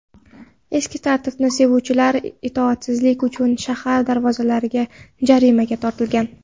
Eski tartibni sevuvchilar itoatsizlik uchun shahar darvozalarida jarimaga tortilgan.